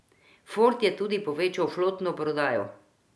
Ford je tudi povečal flotno prodajo.